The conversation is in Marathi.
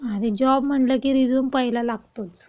आता जॉब म्हणलं की रिझ्यूम पहिला लागतोच.